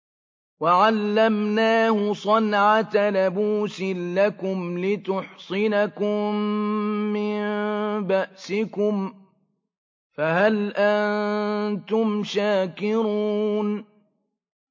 وَعَلَّمْنَاهُ صَنْعَةَ لَبُوسٍ لَّكُمْ لِتُحْصِنَكُم مِّن بَأْسِكُمْ ۖ فَهَلْ أَنتُمْ شَاكِرُونَ